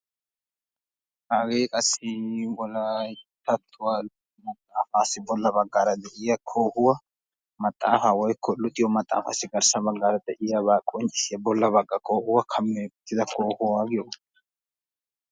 Hagee qassi wolayttatuwa maxafassi de'iya koohoy garssan de'iyabba qonccisiya maxafaa koohuwaa.